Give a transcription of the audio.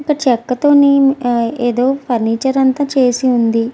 ఇక్కడ చెక్క తోని ఏదో ఫర్నిచర్ అంత చేసి వుంది.